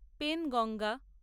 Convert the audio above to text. Penganga